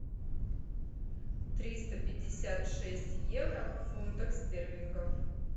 триста пятьдесят шесть евро в фунтах стерлингов